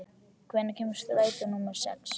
Anton, hvenær kemur strætó númer sex?